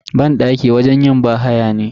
Banɗaki wajen yin bahaya ne.